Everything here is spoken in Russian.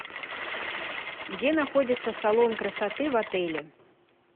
где находится салон красоты в отеле